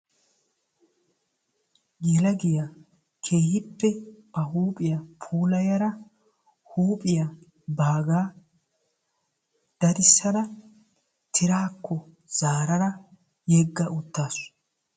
Yelagiya keehippe ba huuphiya daddissadda ba huuphiya tirakko yegga uttaassu.